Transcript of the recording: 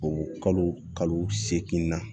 O kalo kalo seegin na